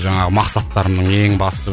жаңағы мақсаттарымның ең басты